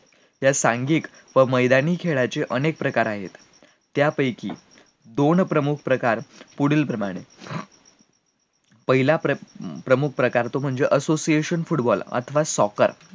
या सांख्यिक व मैदानी खेळाचे अनेक प्रकार आहे, त्यापैकी दोन प्रमुख प्रकार पुढील प्रमाणे आहे, पहिला प्रमुख प्रकार तो म्हणजे association football अथवा soccer